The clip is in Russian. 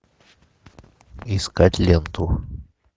искать ленту